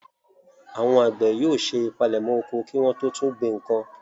Àwọn àgbẹ̀ yóò ṣe ìpalẹ̀mọ́ oko kí wọ́n tó tún gbìn nǹkan.